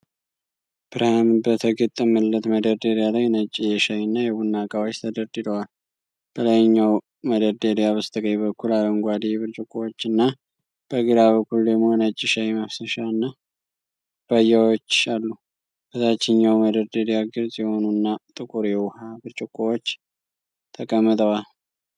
ብርሃን በተገጠመለት መደርደሪያ ላይ ነጭ የሻይ እና የቡና እቃዎች ተደርድረዋል። በላይኛው መደርደሪያ በስተቀኝ በኩል አረንጓዴ ብርጭቆዎችና በግራ በኩል ደግሞ ነጭ ሻይ ማፍሰሻና ኩባያዎች አሉ። በታችኛው መደርደሪያ ግልጽ የሆኑና ጥቁር የውሃ ብርጭቆዎች ተቀምጠዋል።